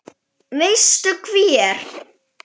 Veistu hver